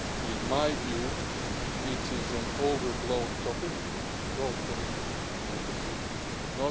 border issue. In my view it is an overblown topic both politically and